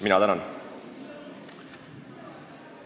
Mina tänan!